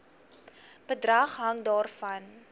bedrag hang daarvan